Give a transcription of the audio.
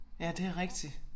Ja det rigtigt